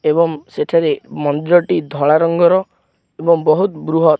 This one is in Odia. ଏବଂ ସେଠାରେ ମନ୍ଦିରଟି ଧଳା ରଙ୍ଗର ଏବଂ ବହୁତ୍ ବୃହତ୍।